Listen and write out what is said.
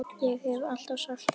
Ég hef alltaf sagt það.